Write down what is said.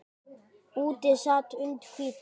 Úti sat und hvítum